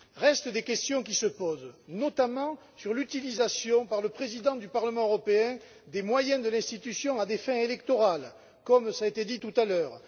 Restent des questions qui se posent, notamment, sur l'utilisation, par le président du Parlement européen, des moyens de l'institution à des fins électorales, comme cela a été dit tout à l'heure.